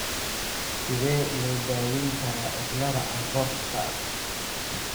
Sidee loo daweyn karaa cilada Alportka?